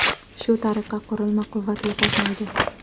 Shu tariqa, qurilma quvvat yo‘qotmaydi.